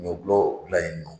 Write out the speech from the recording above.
Ɲɔgulɔ dilan yen nɔ